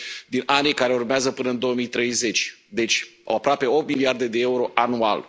dintre anii care urmează până în 2030, deci aproape opt miliarde de euro anual.